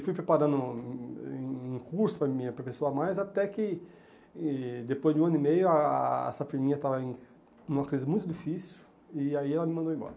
E fui preparando um curso para me aperfeiçoar, mas até que, e depois de um ano e meio, a a essa firminha estava em numa crise muito difícil, e aí ela me mandou embora.